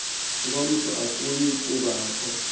ngomso akuyi kubakho